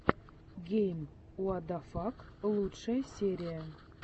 гейм уадафак лучшая серия